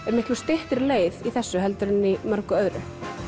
er miklu styttri leið í þessu heldur en í mörgu öðru